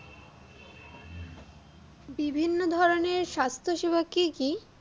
বিভিন্ন ধরনের স্বাস্থ্যসেবা কি কি?